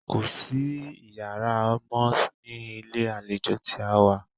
Kò sí iyàrá mọ́ ní ilé àlejò tí a wá.